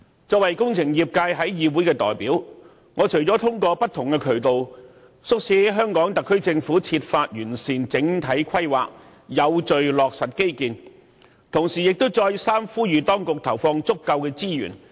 作為工程業界的議會代表，我除了通過不同渠道，促請香港特區政府設法完善整體規劃，有序落實基建外，同時亦再三呼籲當局投放足夠資源。